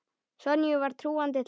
Sonju var trúandi til alls.